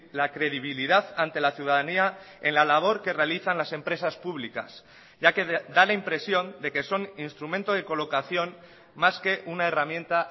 la credibilidad ante la ciudadanía en la labor que realizan las empresas públicas ya que da la impresión de que son instrumento de colocación más que una herramienta